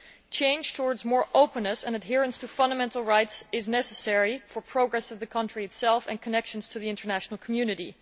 A change towards more openness and adherence to fundamental rights is necessary for the progress of the country itself and its connections to the international community.